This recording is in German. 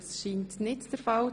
– Das ist nicht der Fall.